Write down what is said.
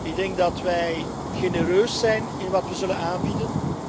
Ik denk dat we genereus zijn in wat we zullen aanbieden.